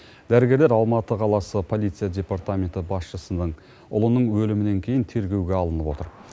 дәрігерлер алматы қаласы полиция департаменті басшысының ұлының өлімінен кейін тергеуге алынып отыр